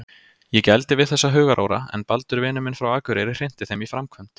Ég gældi við þessa hugaróra en Baldur vinur minn frá akureyri hrinti þeim í framkvæmd.